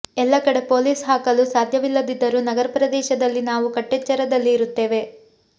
ಎಲ್ಲ ಕಡೆ ಪೊಲೀಸ್ ಹಾಕಲು ಸಾಧ್ಯವಿಲ್ಲದಿದ್ದರೂ ನಗರ ಪ್ರದೇಶದಲ್ಲಿ ನಾವು ಕಟ್ಟೆಚ್ಚರದಲ್ಲಿ ಇರುತ್ತೇವೆ